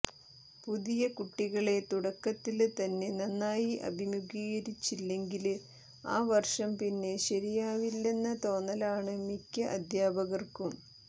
പുതിയ കുട്ടികളെ തുടക്കത്തില് തന്നെ നന്നായി അഭിമുഖീകരിച്ചില്ലെങ്കില് ആ വര്ഷം പിന്നെ ശരിയാവില്ലെന്ന തോന്നലാണ് മിക്ക അധ്യാപകര്ക്കും